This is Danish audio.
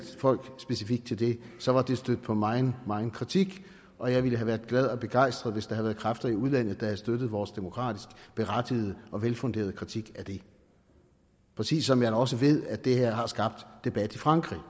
folk specifikt til det så var det stødt på megen megen kritik og jeg ville have været glad og begejstret hvis der havde været kræfter i udlandet der havde støttet vores demokratisk berettigede og velfunderede kritik af det præcis som jeg da også ved at det her har skabt debat i frankrig